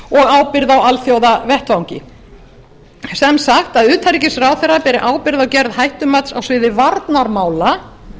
og ábyrgð á alþjóðavettvangi sem sagt utanríkisráðherra beri ábyrgð á gerð hættumats á sviði varnarmála